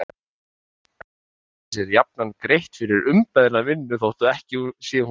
En erlendis er jafnan greitt fyrir umbeðna vinnu þótt ekki sé hún notuð.